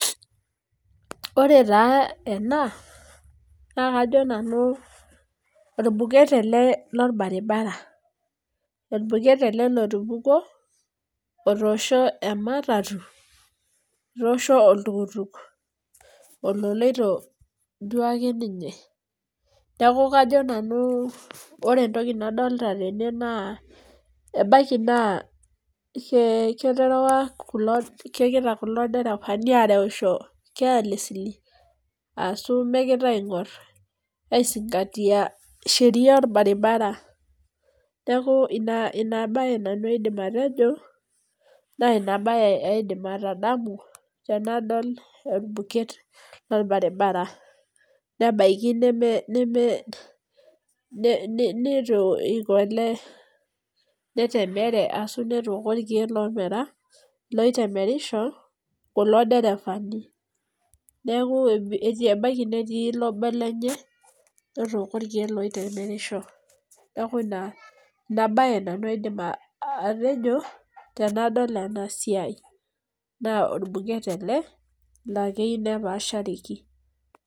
Ore taa ena naa, kajo nanu orbuket ele lorbaribara. Orbuket ele lotupukuo otoshoo ematatu etoosho oltukutuk ololoito duake ninye. Neaku kajo nanu ore etoki nadolita tene naa, ebaiki naa keterewa kegira kulo deravani arewuosho carelessly ashu megira aingor aisingatia Sheria orbaribara. Neaku ina bae nanu aidim atejo naa, ina bae aidim atadamu tenadol orbuket lorbaribara nebaiki neitu eiko ele netemere ashu netooko irkeek lomera, loitemerisho kulo derevaani. Neaku ebaiki netii obo lenye otooko irkeek loitemerisho. Neaku ina bae nanu aidim atejo tenadol ena siai. Naa orbuket ele laa keyieu nepaashareki.